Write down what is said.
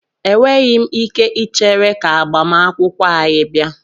Enweghị m ike ichere ka agbamakwụkwọ anyị bịa.